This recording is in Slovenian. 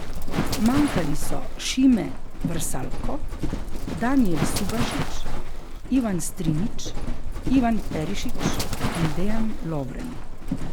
Manjkali so Šime Vrsaljko, Danijel Subašić, Ivan Strinić, Ivan Perišić in Dejan Lovren.